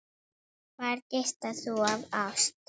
Þar geislar þú af ást.